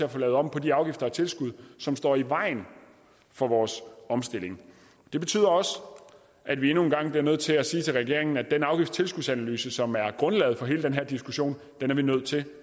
at få lavet om på de afgifter og tilskud som står i vejen for vores omstilling det betyder også at vi endnu en gang bliver nødt til at sige til regeringen at den afgifts og tilskudsanalyse som er grundlaget for hele den her diskussion er vi nødt til